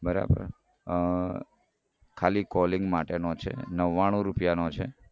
બરાબર અઅઅ ખાલી calling માટેનો છે નવ્વાણું રૂપિયાનો છે